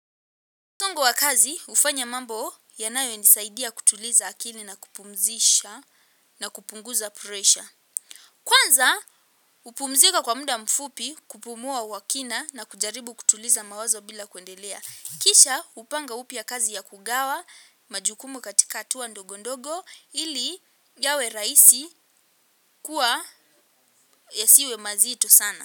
Tungo wa kazi, hufanya mambo yanayonisaidia kutuliza akili na kupumzisha na kupunguza presha. Kwanza, hupumzika kwa muda mfupi kupumua kwa kina na kujaribu kutuliza mawazo bila kuendelea. Kisha, hupanga upya kazi ya kugawa majukumu katika hatua ndogo ndogo ili yawe raisi kuwa yasiwe mazito sana.